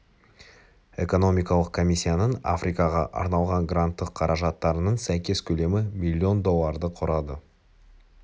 экономикалық комиссиясының африкаға арналған гранттық қаражаттарының сәйкес көлемі миллион долларды құрады